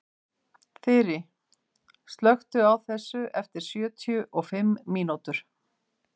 Þyri, slökktu á þessu eftir sjötíu og fimm mínútur.